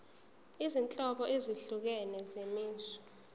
izinhlobo ezahlukene zemisho